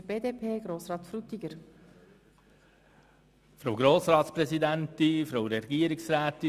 Für die BDP-Fraktion hat Grossrat Frutiger das Wort.